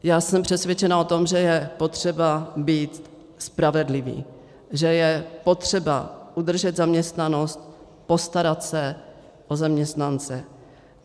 Já jsem přesvědčena o tom, že je potřeba být spravedlivý, že je potřeba udržet zaměstnanost, postarat se o zaměstnance.